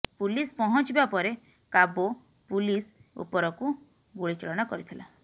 ପୁଲସ୍ ପହଞ୍ଚିବା ପରେ କାବୋ ପୁଲିସ ଉପାରକୁ ଗୁଳି ଚାଳନା କରିଥିଲା